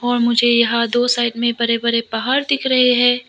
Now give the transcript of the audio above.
और मुझे यहां दो साइड में बड़े बड़े पहाड़ दिख रहे हैं।